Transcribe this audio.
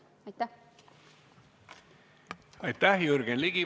Aitäh!